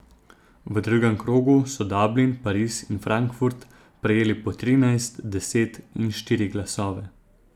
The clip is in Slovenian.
V drugem krogu so Dublin, Pariz in Frankfurt prejeli po trinajst, deset in štiri glasove.